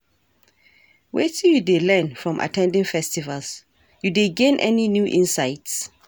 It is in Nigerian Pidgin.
Wetin you dey learn from at ten ding festivals, you dey gain any new insights?